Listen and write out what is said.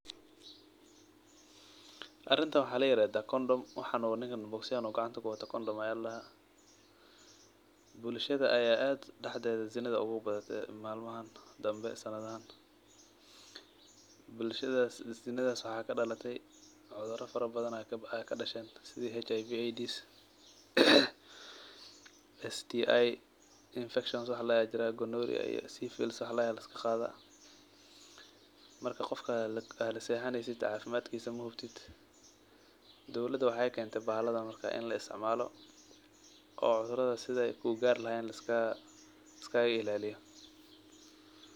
Arintan wa layirahdaa condom, waxa uu ninkan bogsyahan uu gacanta kuwato ccondom ayaa ladahaa. Bulshada ayaa daxdeda ad zinada ugubadte malaiman dambe sanadahan . Bulshadas iyo zinadas waxaa kadalate cudura fara badan aa kadashen , sida HIV AIDS STI wax ladahay aa jiraah gonorrhea iyo syphilis wax ladahay aa liskaqadah, marka qofka lasexaneysid cafimadkisa mahubtid, dowlada waxay kente bahaladan markan in laisticmalo oo cudurada sida ay ugarlahayen liskaga ilaliyo.